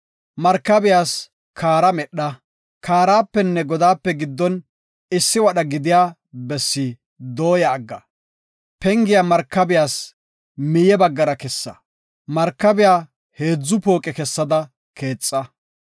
Markabiyas kaara medha; kaarapenne godaape giddon issi wadha gidiya bessi dooya agga. Pengiya markabiyas miye baggara kessa; markabiya heedzu pooqe kessada keexa.